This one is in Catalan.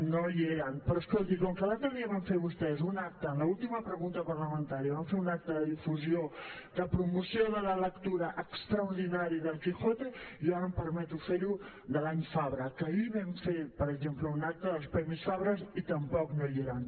no hi eren però escolti com que l’altre dia van fer vostès un acte en l’última pregunta parlamentària van fer un acte de difusió de promoció de la lectura extraordinari d’el quijote jo ara em permeto fer ho de l’any fabra que ahir vam fer per exemple un acte dels premis fabra i tampoc no hi eren